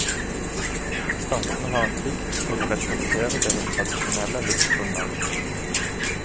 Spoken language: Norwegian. Statene har en plikt til å respektere deres tradisjonelle livsgrunnlag.